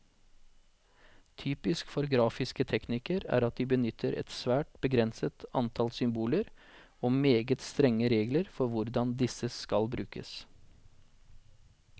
Typisk for grafiske teknikker er at de benytter et svært begrenset antall symboler, og meget strenge regler for hvordan disse skal brukes.